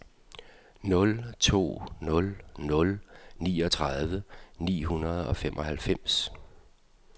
nul to nul nul niogtredive ni hundrede og femoghalvfems